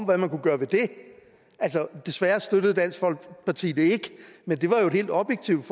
hvad man kunne gøre ved det desværre støttede dansk folkeparti det ikke men det var jo et helt objektivt